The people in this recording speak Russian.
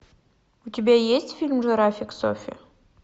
у тебя есть фильм жирафик софи